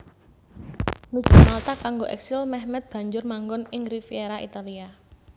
Nuju Malta kanggo eksil Mehmed banjur manggon ing Riviera Italia